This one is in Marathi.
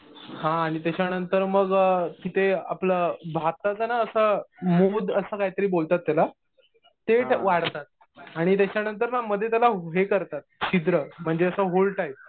हा आणि त्याच्यानंतर मग तिथे आपलं भाताचं ना असं मुद असं काहीतरी बोलतात त्याला. ते वाढतात. आणि त्याच्यानंतर ना मध्ये त्याला हे करतात छिद्र म्हणजे असं होल टाईप.